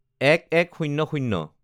০১/০১/০০